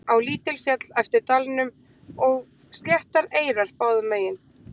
á lítil féll eftir dalnum og sléttar eyrar báðum megin